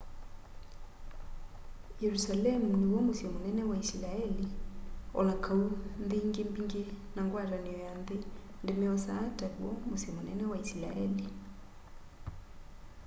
yerusalemu niw'o musyi munene wa isilaeli o na kau nthi ingi mbingi na ngwatanio ya nthi ndimy'osaa taw'o musyi munene wa isilaeli